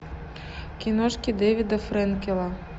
киношки дэвида фрэнкела